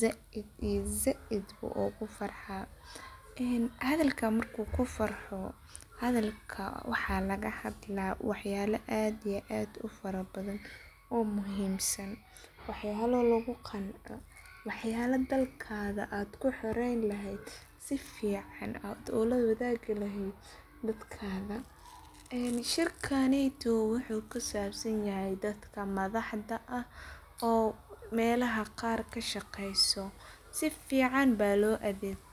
zaid iyo zaid ayu ogu farxa, ee hadhalka marku ku farxo, hadhalka waxaa laga hadla wax yala aad iyo aad u fara badhan oo muhiim san, waxyalo lagu qanco wax yalo dalkaga aad ku xoreyn lehed, shirkaneto wuxuu kusabsan yahay dadka madhaxda ah oo meelaha qar kashaqeyso sifican ba.